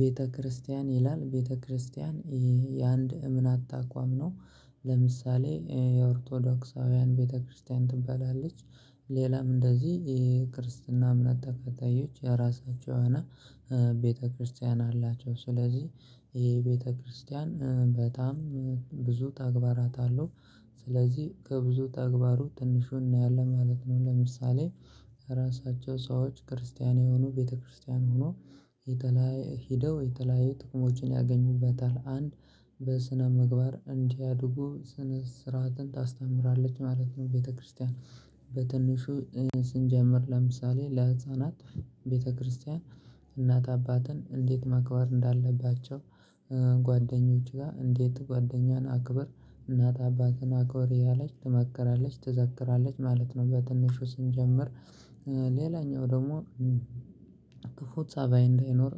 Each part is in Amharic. ቤተክርስቲያን ይላል ቤተክርስቲያን የአንድ እምነት አታቋም ነው። ለምሳሌ የኦርቶዶክሳውያን ቤተክርስቲያን ትበላለች ሌላም እንደዚህ የክርስትና እምነት ተከታዮች የራሳቸው የሆነ ቤተክርስቲያን አላቸው ስለዚህ ይሄ ቤተክርስቲያን በጣም ብዙ ተግባራት አለው ስለዚህ ከብዙ ተግባሩ ትንሹን እናያለን ማለት ነው ለምሳሌ ራሳቸው ሰዎች ክርስቲያን የሆኑ ቤተክርስቲያን ሆኖ የተላየ ሄደው የተለያየ ጥቅሞችን ያገኙበታል አንድ በስነ ምግባር እንዲያድጉ ስነ ስርዓትን ታስተምራለች ማለት ነው ቤተክርስቲያን። በትንሹ ስንጀምር ለምሳሌ: ለህፃናት ቤተክርስቲያን እናት አባትን እንዴት መክበር እንዳለባቸው ጓደኞች ጋር እንዴት ጓደኛን አክብር እናት አባትን አኮሪ ያለች ትመከራለች ትዘክራለች ማለት ነው በትንሹ ስንጀምር ሌላኛው ደግሞ ክፉ ፀባይ እንዳይኖር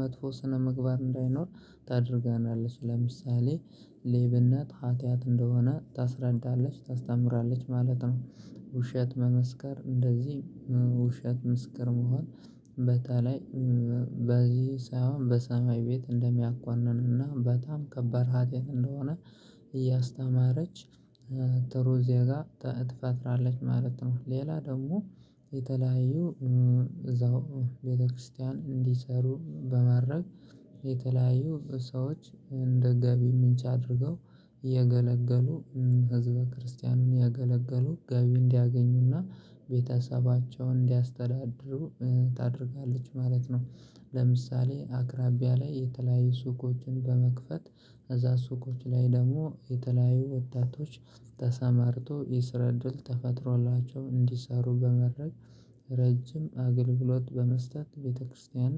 መጥፎ ስነ ምግባር እንዳይኖር ታደርጋለች ለምሳሌ ሌብነት ሀትያት እንደሆነ ታስረዳለች ታስተምራለች ማለት ነው። ውሸት መመስከር እንደዚህ ውሸት ምስክር መሆን በተለይ በዚህ ሳይሆን በሰማይ ቤት እንደሚያኳንንና በጣም ከባድ ሀጢያት እንደሆነ እያስተማረች። ጥሩ ዜጋ ትፈጥራለች ማለት ነው ሌላ ደግሞ የተለያዩ እዛው ቤተክርስቲያን እንዲሰሩ በማድረግ የተለያዩ ሰዎች እንደ ገቢ ምንጭ አድርገው እየገለገሉ ህዝበ ክርስቲያኑን ያገለገሉ ገቢ እንዲያገኙና ቤተሰባቸውን እንዲያስተዳድሩ ታደርጋለች ማለት ነው። ለምሳሌ አቅራቢያ ላይ የተለያዩ ሱቆችን በመክፈት እዛ ሱቆች ላይ ደግሞ የተለያዩ ወጣቶች ተሰማርቶ የስረ ድል ተፈጥሮላቸው እንዲሰሩ በመድረግ ረጅም አገልግሎት በመስጠት ቤተክርስቲያን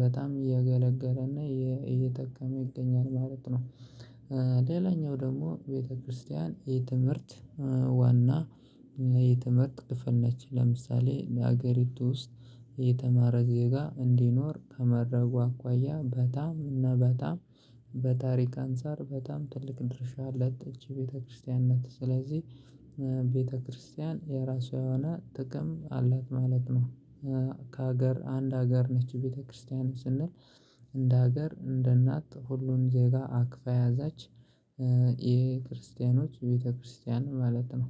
በጣም እየገለገለና እየጠቀመ ይገኛል ማለት ነው። ሌላኛው ደግሞ ቤተክርስቲያን የትምህርት ዋና የትምህርት ክፍል ነች ለምሳሌ ለሀገሪቱ ውስጥ የተማረ ዜጋ እንዲኖር ከመድረጉ አኳያ በጣም እና በጣም በታሪክ አንፃር በጣም ትልቅ ድርሻ ያላት እቺ ቤተክርስቲያን ነት ስለዚህ ቤተክርስቲያን የራሷ የሆነ ጥቅም አላት ማለት ነው ከሀገር አንድ ሀገር ነች ቤተክርስቲያን ስንል እንደ ሀገር እንደ እናት ሁሉን ዜጋ አክፋ ያዛች የክርስቲያኖች ቤተክርስቲያን ማለት ነው።